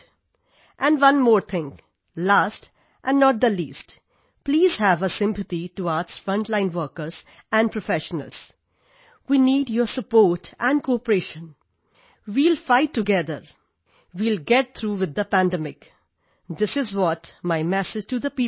and one more thing last and not the least please have a sympathy towards frontline workers and professionals we need your support and cooperation we will fight together we will get through with the pandemic this is what my message to the people ਸਿਰ